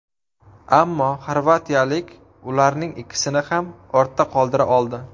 Ammo xorvatiyalik ularning ikkisini ham ortda qoldira oldi.